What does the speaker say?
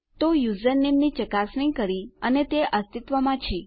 તો આપણે યુઝરનેમ ની ચકાસણી કરી અને તે અસ્તિત્વમાં છે